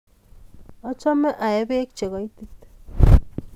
Achame aee peek che koitit